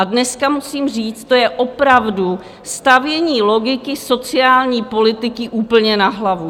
A dneska musím říct, to je opravdu stavění logiky sociální politiky úplně na hlavu!